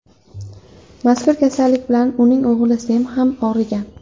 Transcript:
Mazkur kasallik bilan uning o‘g‘li Sem ham og‘rigan.